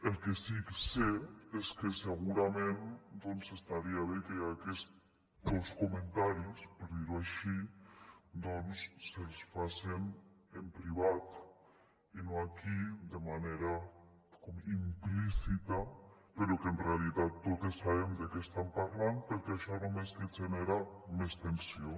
el que sí que sé és que segurament estaria bé que aquestos comentaris per dir ho així doncs se’ls facen en privat i no aquí de manera implícita però que en realitat totes sabem de què estan parlant perquè això només que genera més tensió